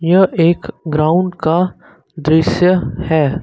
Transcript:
यह एक ग्राउंड का दृश्य है।